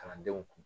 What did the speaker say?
Kalandenw kun